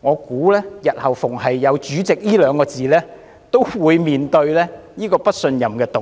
我相信只要有"主席"二字，日後均會面對不信任議案。